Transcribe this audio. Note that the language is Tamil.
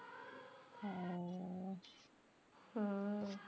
அஹ் ஆஹ்